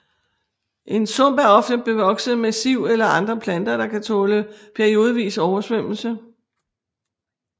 En sump er ofte bevokset med siv eller andre planter der kan tåle periodevis oversvømmelse